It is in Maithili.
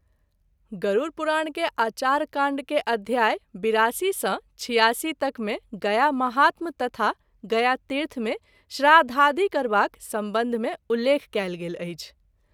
गरूर पुराण के आचार काण्ड के अध्याय ८२ सँ ८६ तक मे गया महात्म तथा गया तीर्थ मे श्राद्धादि करबाक संबंध मे उल्लेख कएल गेल अछि।